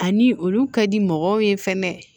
Ani olu ka di mɔgɔw ye fɛnɛ